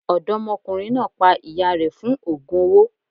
Ọ̀dọ́mọkùnrin náà pa ìyá rẹ̀ fún ògùn owó.